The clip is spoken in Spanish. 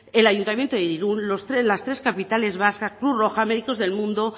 el ayuntamiento de irún las tres capitales vascas cruz roja médicos del mundo